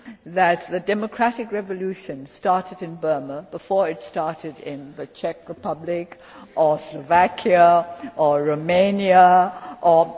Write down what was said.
to say that the democratic revolution started in Burma before it started in the Czech Republic or Slovakia or Romania